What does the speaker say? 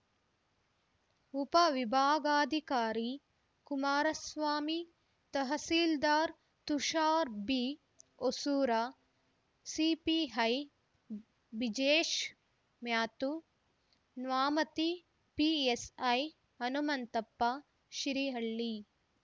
ಉಪವಿಭಾಗಾಧಿಕಾರಿ Kumaraswamy tahsildar Tushar B Hosur CPI Bijesh Mathew Nyamathi PSI Hanumanthappa Shirihalli